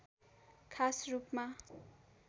खास रूपमा